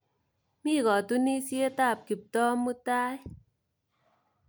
Mi katunisyet ap Kiptoo mutai.